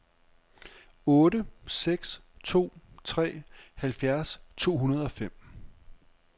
otte seks to tre halvfjerds to hundrede og fem